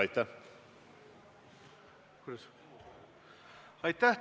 Aitäh!